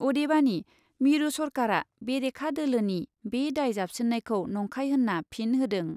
अदेबानि मिरु सरकारा बेरेखा दोलोनि बे दाय जाबसिन्नायखौ नंखाय होन्ना फिन होदों।